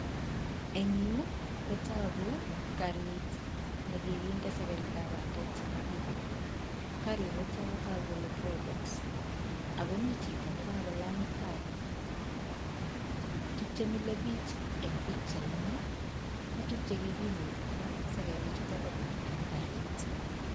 eng' yu kotoooku kariit nekiginde sekerik ap bandek chenyolilen. kariit niitok kotoku kole probox, akomi chito nekakolany tai. tukchemile biich eng'pikchaitni ko tukchekinyitita sekeri chuutok pa bandek kariit